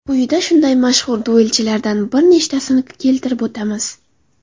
Quyida shunday mashhur duelchilardan bir nechtasini keltirib o‘tamiz.